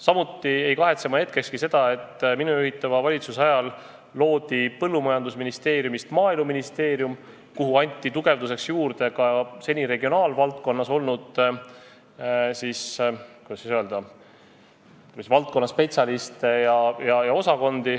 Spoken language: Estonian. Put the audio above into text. Samuti pole ma hetkegi kahetsenud, et minu juhitud valitsuse ajal sai Põllumajandusministeeriumist Maaeluministeerium, kuhu anti üle seni regionaalvaldkonnaga tegelenud spetsialiste ja osakondi, et ministeeriumi tugevdada.